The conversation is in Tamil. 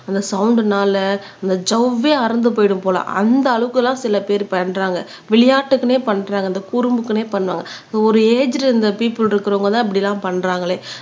அந்த சவுண்ட் னால அந்த ஜவ்வே அறுந்து போயிடும் போல அந்த அளவுகெல்லாம் சில பேர் பண்றாங்க விளையாட்டுக்குன்னே பண்றாங்க இந்த குறும்புக்குனே பண்றாங்க ஒரு ஏஜ்ல இருந்த பீப்புள் இருக்கிறவங்கதான் இப்படி எல்லாம் பண்றாங்களே